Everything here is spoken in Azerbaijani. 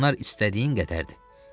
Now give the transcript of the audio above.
Onlar istədiyin qədərdir.